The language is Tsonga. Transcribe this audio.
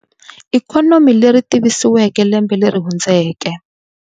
Ikhonomi leri tivisiweke lembe leri hundzeke.